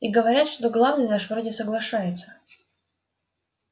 и говорят что главный наш вроде соглашается